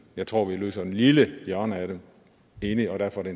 jeg tror dog vi løser et lille hjørne af dem enig og derfor er